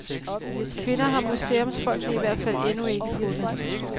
Kvinder har museumsfolkene i hvert fald endnu ikke fundet.